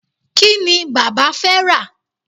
kíni bàbá fé rà